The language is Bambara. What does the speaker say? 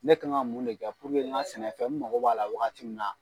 Ne kan ka mun de kɛ puruke n ka sɛnɛfɛn , n mako b'a la wagati min na